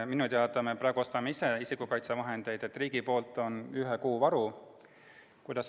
Minu teada me praegu ostame isikukaitsevahendeid ise, riigi poolt on ühe kuu varu.